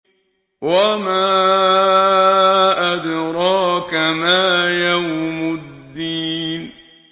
وَمَا أَدْرَاكَ مَا يَوْمُ الدِّينِ